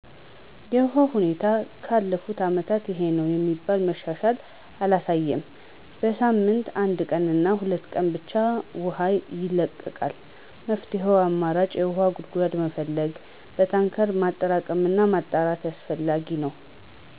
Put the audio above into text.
የውሃ ሁኔታው ከባለፉት አመታት ይሄነው የሚባል መሻሻል አላሳየም። በሳምንት አንድ ቀንና ሁለት ቀን ብቻ ውሃ ይለቀቃል። መፍትሄው አማራጭ የውሃ ጉድጓዶችን መፈለግ፣ በታንከር ማጠራቀምና ማጣራት አስፈላጊ ነው።